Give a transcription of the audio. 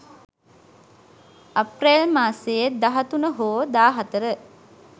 අප්‍රේල් මාසයේ 13 හෝ 14